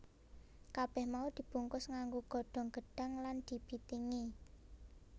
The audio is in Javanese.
Kabèh mau dibungkus nganggo godhong gedhang lan dibitingi